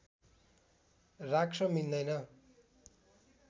राख्न मिल्दैन